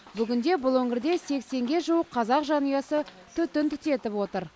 бүгінде бұл өңірде сексенге жуық қазақ жанұясы түтін түтетіп отыр